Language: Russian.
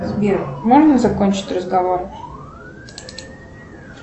сбер можно закончить разговор